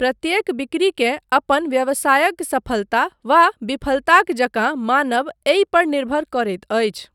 प्रत्येक बिक्रीकेँ अपन व्यवसायक सफलता वा विफलताक जकाँ मानब एहि पर निर्भर करैत अछि।